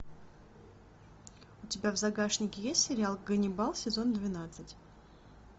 у тебя в загашнике есть сериал ганнибал сезон двенадцать